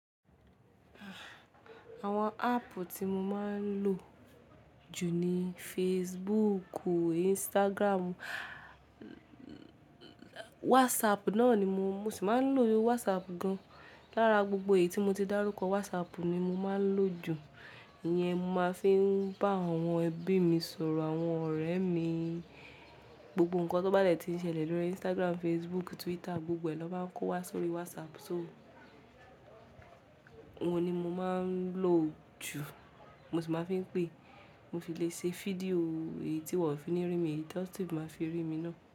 Àwọn app tí mo máa ń lò jù ni Facebook, Instagram, WhatsApp náà ni mo sì máa ń lò WhatsApp gan. Lára gbogbo èyí tí mo ti dárúkọ, WhatsApp ni mo máa ń lò jù. Iyẹn mo máa ń fi n bá àwọn ẹbí mi sọ̀rọ̀, àwọn ọ̀rẹ́ mi. Gbogbo nǹkan tó bá dẹ̀ ti n ṣẹlẹ̀ lórí Instagram, Facebook, Twitter, gbogbo ẹ̀ lọ máa ń kó wá sórí WhatsApp. So oun ni mo máa ń lò jù. Mo sì máa ń fi ń pè, mo fi lè ṣe fídíò. Èyí tí wọ́n ò fi ní rí mi, eyi tan si máa fi rí mi náà.